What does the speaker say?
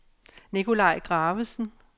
Nicolaj Gravesen